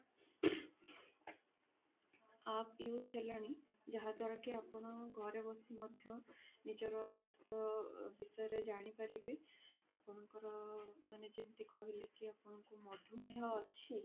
app use ହେଲାଣି ଯାହା ଦ୍ଵାରା କି ଆପଣ ଘରେ ବସି ମଧ୍ୟ ନିଜର ସ୍ୱାସ୍ଥ୍ୟ ବିଷୟରେ ଜାଣିପାରିବେ ଆପଣଙ୍କର ମାନେ ଯେମିତି କି କହିଲେ କି ଆପଣଙ୍କର ମଧୁମେୟ ଅଛି